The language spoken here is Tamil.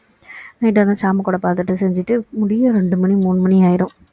night டு வந்து சாமி கொடை பார்த்துட்டு செஞ்சிட்டு முடிய ரெண்டு மணி மூணு மணி ஆகிடும்